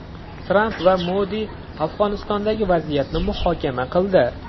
Tramp va Modi Afg‘onistondagi vaziyatni muhokama qildi.